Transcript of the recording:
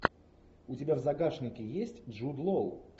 у тебя в загашнике есть джуд лоу